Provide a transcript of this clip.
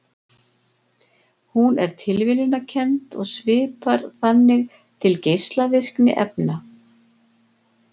Hún er tilviljunarkennd og svipar þannig til geislavirkni efna.